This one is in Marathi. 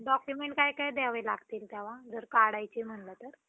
documents काय काय द्यावे लागतील त्याला जर काढायचे म्हंटले तर.